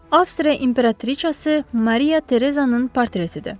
Avstriya imperatriçası Mariya Terezanın portretidir.